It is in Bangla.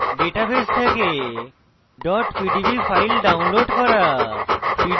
ডাটাবেস থেকে pdb files download করা